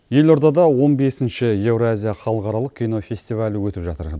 елордада он бесінші еуразия халықаралық кнофестивалі өтіп жатыр